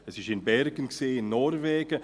Sie war in Bergen, in Norwegen.